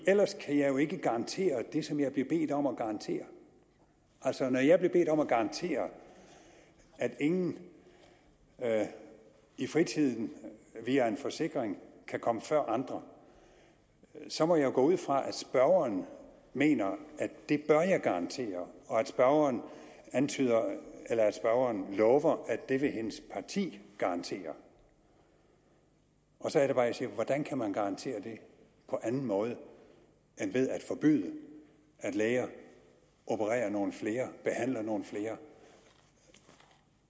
ellers kan jeg jo ikke garantere det som jeg bliver bedt om at garantere altså når jeg bliver bedt om at garantere at ingen i fritiden via en forsikring kan komme før andre så må jeg jo gå ud fra at spørgeren mener at det bør jeg garantere og at spørgeren antyder eller at spørgeren lover at det vil hendes parti garantere så er det bare jeg siger hvordan kan man garantere det på anden måde end ved at forbyde at læger opererer nogle flere behandler nogle flere